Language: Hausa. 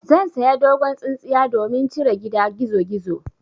Zan saya dogon tsintsiya domin cire gida gizogizo.